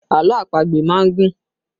Àlọ́ àpagbè má ń gùn